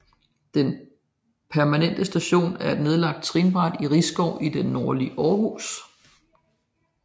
Den Permanente Station er et nedlagt trinbræt i Risskov i det nordlige Aarhus